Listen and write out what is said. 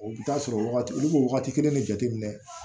O bɛ taa sɔrɔ wagati olu bɛ wagati kelen de jateminɛ